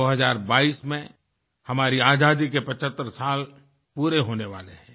2022 में हमारी आज़ादी के 75 साल पूरे होने वाले हैं